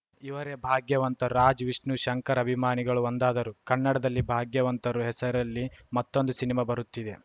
ಇವರೇ ಭಾಗ್ಯವಂತರು ರಾಜ್‌ ವಿಷ್ಣು ಶಂಕರ್‌ ಅಭಿಮಾನಿಗಳು ಒಂದಾದರು ಕನ್ನಡದಲ್ಲಿ ಭಾಗ್ಯವಂತರು ಹೆಸರಲ್ಲಿ ಮತ್ತೊಂದು ಸಿನಿಮಾ ಬರುತ್ತಿದೆ